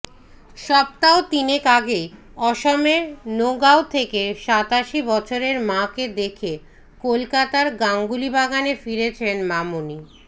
সপ্তাহ তিনেক আগেই অসমের নগাঁও থেকে সাতাশি বছরের মাকে দেখে কলকাতার গাঙ্গুলিবাগানে ফিরেছেন মামনি